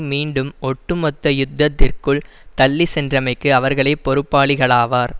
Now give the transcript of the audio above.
மீண்டும் ஒட்டுமொத்த யுத்தத்திற்குள் தள்ளி சென்றமைக்கு அவர்களே பொறுப்பாளிகளாவார்